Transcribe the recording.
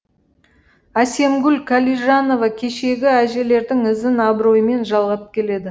әсемгүл қалижанова кешегі әжелердің ізін абыроймен жалғап келеді